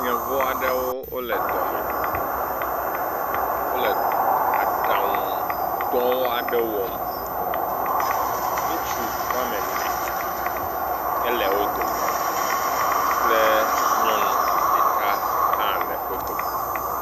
Yevu aɖewo le dɔme. Wole aɖaŋudɔ aɖe wɔm. Ŋutsu wome ene hele wo dome kple nyɔnu ɖeka hã le wo dome.